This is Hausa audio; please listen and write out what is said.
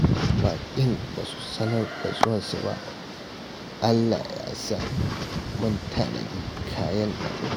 Baƙin ba su sanar da zuwansu ba, Allah ya so mun tanadi kayan abinci